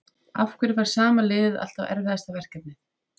Af hverju fær sama liðið alltaf erfiðasta verkefnið?